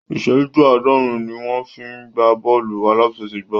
Ìsẹ́jú àádọ́rin ni wọ́n fi ń gbá bọ́ọ̀lù aláfẹsẹ̀gbá